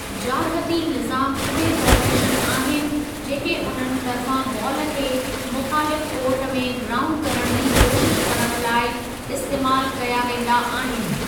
जारहती निज़ामु उहे फ़ार्मेशन आहिनि जेके उन्हनि तर्फ़ां बॉल खे मुख़ालिफ़ु कोर्ट में ग्राऊंड करण जी कोशिश करण लाइ इस्तेमालु कया वेंदा आहिनि।